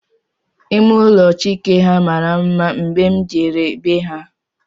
Ime ụlọ Chike ha mara mma mgbe m jere be ha